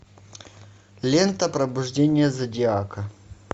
лента пробуждение зодиака